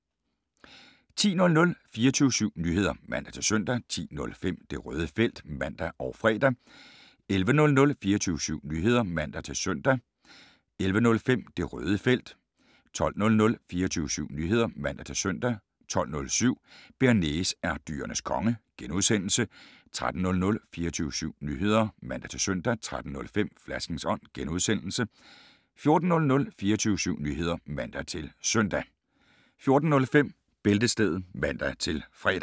10:00: 24syv Nyheder (man-søn) 10:05: Det Røde Felt (man og fre) 11:00: 24syv Nyheder (man-søn) 11:05: Det Røde Felt 12:00: 24syv Nyheder (man-søn) 12:07: Bearnaise er Dyrenes Konge (G) 13:00: 24syv Nyheder (man-søn) 13:05: Flaskens Ånd (G) 14:00: 24syv Nyheder (man-søn) 14:05: Bæltestedet (man-fre)